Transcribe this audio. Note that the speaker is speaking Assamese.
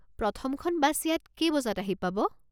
প্ৰথমখন বাছ ইয়াত কেই বজাত আহি পাব?